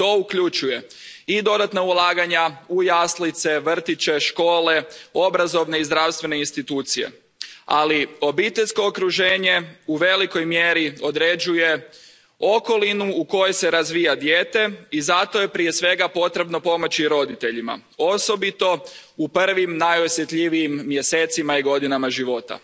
To uključuje i dodatna ulaganja u jaslice, vrtiće, škole, obrazovne i zdravstvene institucije, ali obiteljsko okruženje u velikoj mjeri određuje okolinu u kojoj se razvija dijete i zato je prije svega potrebno pomoći roditeljima, osobito u prvim najosjetljivijim mjesecima i godinama života.